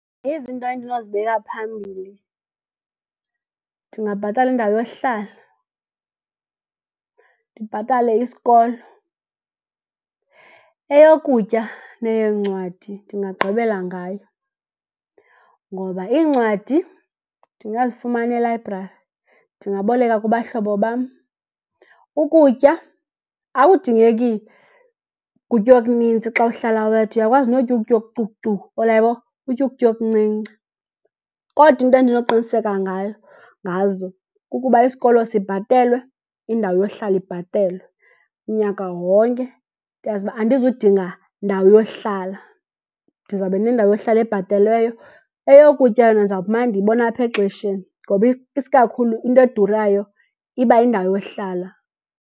Izinto endinozibeka phambili ndingabhatala indawo yohlala, ndibhatale isikolo. Eyokutya neyeencwadi ndingagqibela ngayo ngoba iincwadi ndingazifumana elayibrari, ndingaboleka kubahlobo bam. Ukutya akudingeki kutya okunintsi xa uhlala wedwa, uyakwazi notya ukutya okucukucuku, uyabona, utye ukutya okuncinci. Kodwa iinto endinokuqiniseka ngazo kukuba isikolo sibhatelwe, indawo yohlala ibhatelwe unyaka wonke. Ndazi uba andizudinga ndawo yohlala, ndiza kuba nendawo yohlala ebhatelweyo. Eyokutya yona ndiza akumana ndiyibona apha exesheni ngoba isikakhulu into edurayo iba yindawo yohlala.